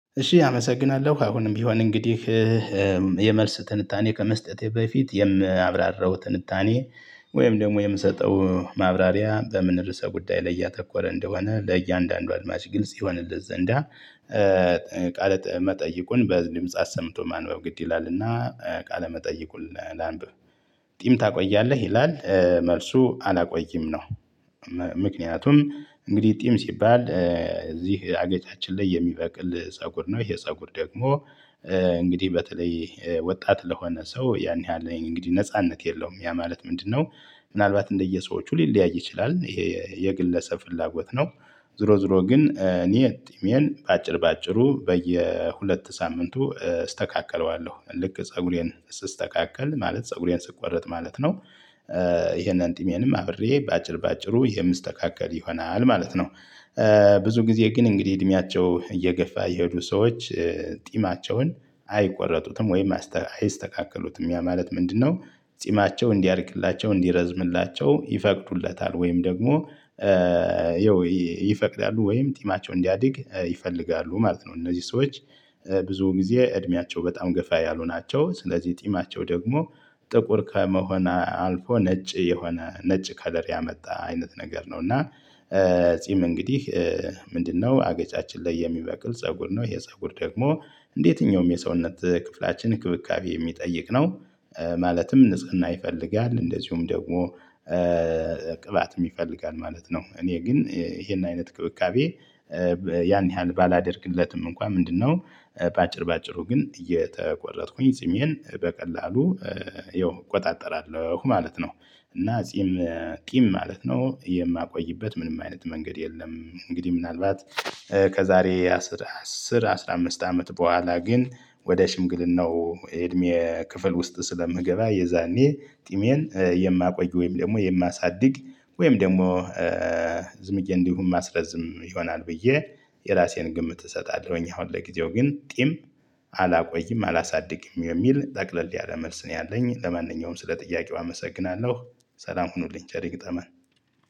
እሺ አመሰግናለሁ አሁንም ቢሆን እንግዲህ የመልስ ትንታኔ ከመስጠቴ በፊት የማብራራው ትንታኔ ወይም ደግሞ የምሰጠው ማብራሪያ በምን ርዕሰ ጉዳይ ላይ እያተኮረ እንደሆነ ለእያንዳንዱ አድማጭ ግልጽ ይሆንለት ዘንዳ ቃለ መጠይቁን በድምጽ አሰምቶ ማንበብ ግድ ይላልና ቃለ መጠይቁን ላንብ ጥሚ ታቆያለህ ይላል መልሱ አላቆይም ነው። ምክንያቱም እንግዲህ ጥም ሲባል እዚህ አገጫችን ላይ የሚበቅል ፀጉር ነው ይሄ ፀጉር ደግሞ እንግዲህ በተለይ ወጣት ለሆነ ሰው ያን ያህል እንግዲህ ነጻነት የለውም ያ ማለት ምንድነው? ምናልባት እንደየሰዎቹ ሊለያይ ይችላል። የግለሰብ ፍላጎት ነው። ዞሮ ዞሮ ግን እኔ ጥሜን በአጭር በአጭሩ በየሁለት ሳምንቱ እስተካከለዋለሁ ልክ ፀጉሬን ስስተካከል ማለት ፀጉሬን ስቆረጥ ማለት ነው። ይሄንን ጥሜንም አብሬ በአጭር በአጭሩ የምስተካከል ይሆናል ማለት ነው። ብዙ ጊዜ ግን እንግዲህ እድሜያቸው እየገፋ የሄዱ ሰዎች ጢማቸውን አይቆረጡትም ወይም አይስተካከሉትም ያ ማለት ምንድነው? ጢማቸው እንዲያድግላቸው እንዲረዝምላቸው ይፈቅዱለታል ወይም ደግሞ ይፈቅዳሉ ወይም ጢማቸው እንዲያድግ ይፈልጋሉ ማለት ነው። እነዚህ ሰዎች ብዙ ጊዜ እድሜያቸው በጣም ገፋ ያልሆናቸው ስለዚህ ጢማቸው ደግሞ ጥቁር ከመሆን አልፎ ነጭ የሆነ ነጭ ከለር ያመጣ አይነት ነገር ነው። እና ጺም እንግዲህ ምንድነው አገጫችን ላይ የሚበቅል ፀጉር ነው። የፀጉር ደግሞ እንደየትኛውም የሰውነት ክፍላችን እክብካቤ የሚጠይቅ ነው። ማለትም ንጽህና ይፈልጋል እንደዚሁም ደግሞ ቅባት ይፈልጋል ማለት ነው። እኔ ግን ይሄን አይነት እክብካቤ ያን ያህል ባላደርግለትም እንኳን ምንድነው? በአጭር በአጭሩ ግን እየተቆረጥኩኝ ጺሜን በቀላሉ ይው እቆጣጠራለሁ ማለት ነው። እና ጺም ቂም ማለት ነው የማቆይበት ምንም አይነት መንገድ የለም። እንግዲህ ምናልባት ከዛሬ አስር አስር አስራ አምስት አመት በኋላ ግን ወደ ሽምግልናው የእድሜ ክፍል ውስጥ ስለምገባ የዛኔ ጢሜን የማቆይ ወይም ደግሞ የማሳድግ ወይም ደግሞ ዝምዬ እንዲሁ ማስረዝም ይሆናል ብዬ የራሴን ግምት እሰጣለሁኝ። አሁን ለጊዜው ግን ጥም አላቆይም አላሳድግም የሚል ጠቅለል ያለ መልስ ነው። ያለኝ ለማንኛውም ስለ ጥያቄው አመሰግናለሁ። ሰላም ሁኑልኝ ቸር ይግጠመን።